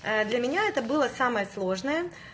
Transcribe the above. для меня это было самое сложное